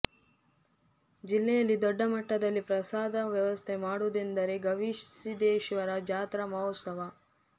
ಜಿಲ್ಲೆಯಲ್ಲಿ ದೊಡ್ಡ ಮಟ್ಟದಲ್ಲಿ ಪ್ರಸಾದ ವ್ಯವಸ್ಥೆ ಮಾಡುವುದೆಂದರೆ ಗವಿಸಿದ್ದೇಶ್ವರ ಜಾತ್ರಾ ಮಹೋತ್ಸವ